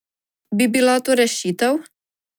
Bi bila to rešitev?